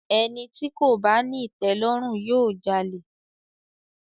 Ẹni tí kò bá ní ìtẹ̀lọ́rùn, yóò jalè.